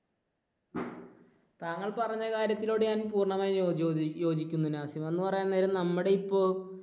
താങ്കൾ പറഞ്ഞ കാര്യത്തിനോട് ഞാൻ പൂർണ്ണമായും യോജി യോജിക്കുന്നു നാസിം. എന്ന് പറയാൻ നേരം നമ്മുടെ ഇപ്പോൾ